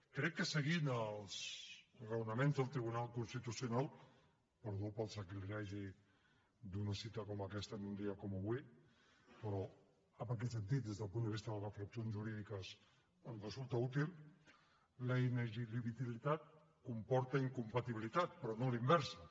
crec que seguint els raonaments del tribunal constitucional perdó pel sacrilegi d’una cita com aquesta en un dia com avui però en aquest sentit des del punt de vista de les reflexions jurídiques ens resulta útil la inelegibilitat comporta incompatibilitat però no a la inversa